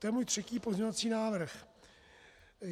To je můj třetí pozměňovací návrh.